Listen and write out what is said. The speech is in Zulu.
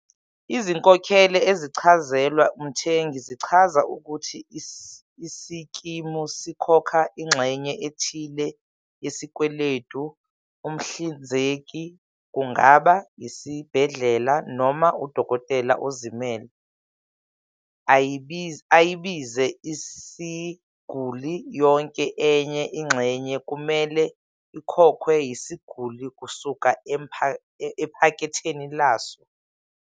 Izinkokhelo ezicazelwa umthengi zichaza ukuthi isikimu sikhokha ingxenye ethile yesikweletu umhlinzeki kungaba isibhedlela noma udokotela ozimele - ayibize isiguli. Yonke enye ingxenye kumele ikhokhwe yisiguli kusuka ephaketheni laso.